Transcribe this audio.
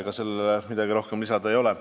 Ega sellele midagi rohkem lisada ei ole.